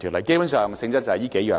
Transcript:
基本上，修訂性質就是這數項。